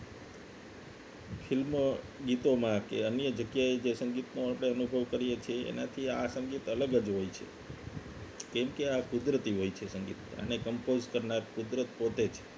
film ગીતોમાં કે અન્ય જગ્યાએ જે સંગીત માટે અનુભવ કરીએ છીએ એનાથી આ સંગીત અલગ જ હોય છે કેમકે આ કુદરતી હોય છે સંગીત એને compose કુદરત પોતે જ